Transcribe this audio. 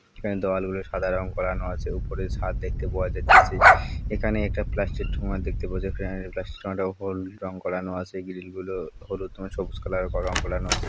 এখানে দেওয়াল গুলি সাদা রং করানো আছে। ওপরে ছাদ দেখতে পাওয়া যাইতিচ্ছে। এখানে একটা প্লাষ্টিক ঠোঙা দেখতে পাওয়া যায়। এ প্লাষ্টিক ঠোঙা টাও হোল রং করানো আছে। গ্রিল গুলো হলুদ রঙে সবুজ কালার রং করান আছে।